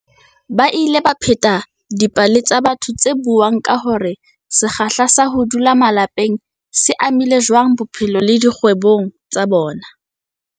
Ba ile ba pheta dipale tsa batho tse buang ka hore se kgahla sa ho dula malapeng se amile jwang bophelo le dikgwebong tsa bona.